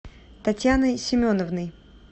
татьяной семеновной